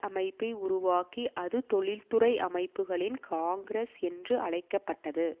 அமைப்பை உருவாக்கி அது தொழிற்துறை அமைப்புகளின் காங்கிரஸ் என்று அழைக்க பட்டது